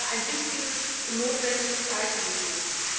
Das wäre ein wichtiges und notwendiges Zeichen gewesen.